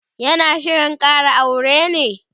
yana Shirin Kara aure ne?